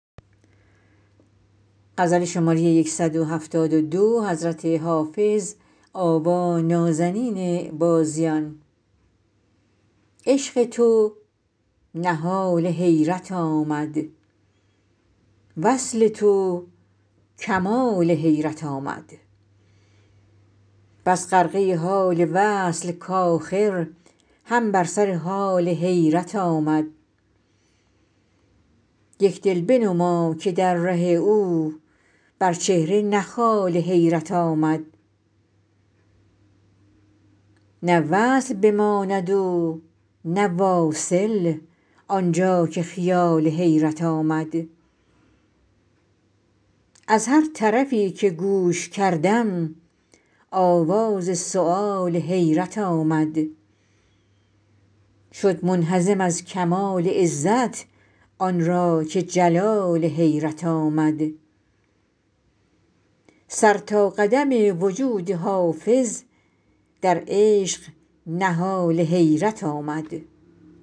عشق تو نهال حیرت آمد وصل تو کمال حیرت آمد بس غرقه حال وصل کآخر هم بر سر حال حیرت آمد یک دل بنما که در ره او بر چهره نه خال حیرت آمد نه وصل بماند و نه واصل آن جا که خیال حیرت آمد از هر طرفی که گوش کردم آواز سؤال حیرت آمد شد منهزم از کمال عزت آن را که جلال حیرت آمد سر تا قدم وجود حافظ در عشق نهال حیرت آمد